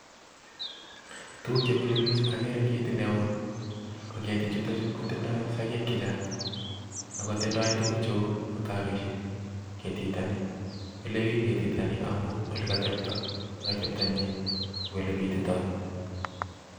Tuguk chemile book akere ketit neo, ko ketichuton kotindoi sogeek chechang, akotindoi tuguk cheu mutaroisiek ketitok nii, milebik ketitok amun ole kotebtoi ak olebititoi